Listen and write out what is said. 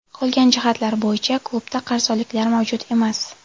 Qolgan jihatlar bo‘yicha klubda qarzdorliklar mavjud emas.